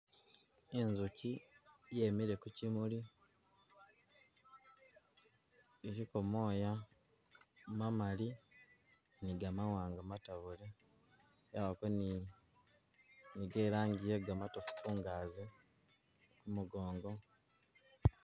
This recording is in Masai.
Inzuki yemile kukimuli iliko mooya mamali ni gamawanga matabule yabako ni ge langi ye gamatofu kungazi kumugongo.